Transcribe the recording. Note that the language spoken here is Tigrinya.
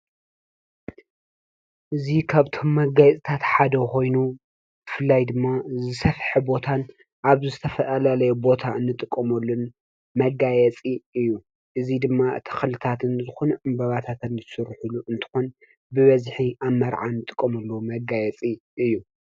እዙ ኸብቶም መጋይጽታት ሓደ ኾይኑ ፍላይ ድማ ሰፍሕ ቦታን ኣብዝተፈዓላለይ ቦታ እንጥቆምሉን መጋየጺ እዩ እዙይ ድማ ተኽልታት እንጽኹን እምበባታትልሱሩሑሉ እንተኾን ብበዝኂ ኣመርዓን ጥቆምሉ መጋየፂ እዩ።